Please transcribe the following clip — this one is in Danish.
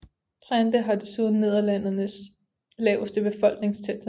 Drenthe har desuden Nederlandenes laveste befolkningstæthed